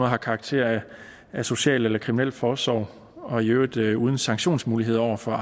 har karakter af social eller kriminalforsorg og i øvrigt uden sanktionsmuligheder over for